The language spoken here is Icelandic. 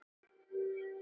Nú verður hún að dæma.